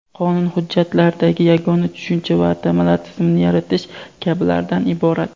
qonun hujjatlaridagi yagona tushuncha va atamalar tizimini yaratish kabilardan iborat.